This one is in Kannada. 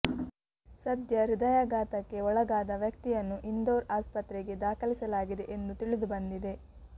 ಸದ್ಯ ಹೃದಯಾಘಾತಕ್ಕೆ ಒಳಗಾದ ವ್ಯಕ್ತಿಯನ್ನು ಇಂಧೋರ್ ಆಸ್ಪತ್ರೆಗೆ ದಾಖಲಿಸಲಾಗಿದೆ ಎಂದು ತಿಳಿದುಬಂದಿದೆ